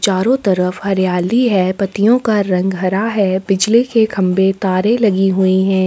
चारो तरफ हरियाली है पतियो का रंग हरा है बिजली के खंबे तारे लगी हुई है।